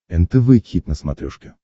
нтв хит на смотрешке